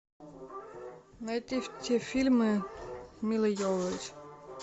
найти все фильмы милы йовович